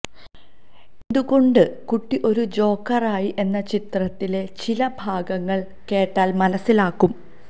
എന്തുകൊണ്ട് കുട്ടി ഒരു ജോക്കറായി എന്ന് ചിത്രത്തിലെ ചില ഭാഗങ്ങള് കേട്ടാല് മനസിലാകും